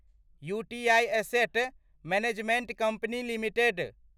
UTI asset management company limited